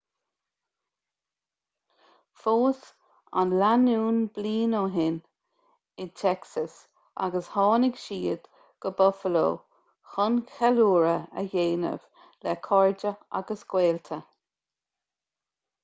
phós an lánúin bliain ó shin in texas agus tháinig siad go buffalo chun ceiliúradh a dhéanamh le cairde agus gaolta